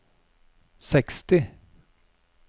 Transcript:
seksti